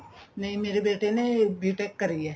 ਨਹੀਂ ਮੇਰੇ ਬੇਟੇ ਨੇ B TECH ਕਰੀ ਏ